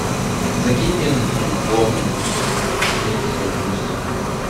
закинь мне на телефон некоторое количество денег